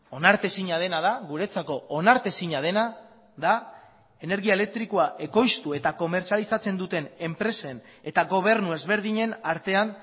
onartezina dena da guretzako onartezina dena da energia elektrikoa ekoiztu eta komertzializatzen duten enpresen eta gobernu ezberdinen artean